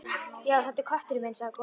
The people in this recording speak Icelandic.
Já, þetta er kötturinn minn sagði konan.